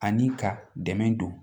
Ani ka dɛmɛ don